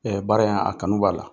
baara in; a kanu b'a la.